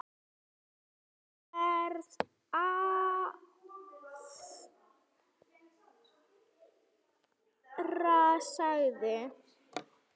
Ég verð að fara, sagði